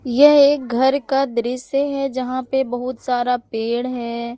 यह एक घर का दृश्य है जहाँ पे बहुत सारा पेड़ है।